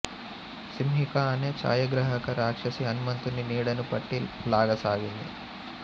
సింహిక అనే ఛాయాగ్రాహక రాక్షసి హనుమంతుని నీడను పట్టి లాగసాగింది